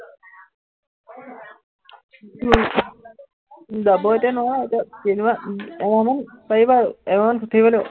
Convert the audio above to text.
যাব এতিয়া নোৱাৰো, এতিয়া তিনিমাহ, এমাহমান পাৰিম আৰু, এমাহমান ছুটীত থাকিব লাগিব